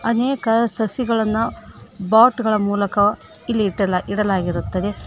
ಅನೇಕ ಸಸಿಗಳನ್ನು ಪಾಟ್ ಗಳ ಮೂಲಕ ಇಲ್ಲಿ ಇಡಲಾಗಿರುತ್ತದೆ.